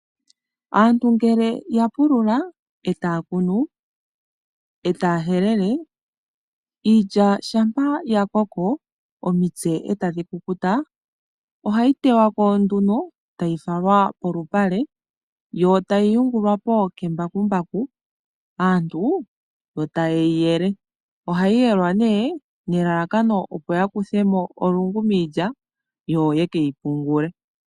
Aantu ngele yapulula etaya kunu nokuhelela iilya shampa yakoko omitse etadhi kukuta ohayi tewako. Ohayi falwa kolupale hono hayi tegelele okuyungulwa nembakumbaku nuuna ya yungulwa aantu ohaya yele opo yakuthemo olungu miilya ye keyipungule.